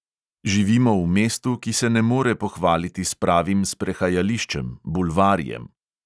Živimo v mestu, ki se ne more pohvaliti s pravim sprehajališčem, bulvarjem.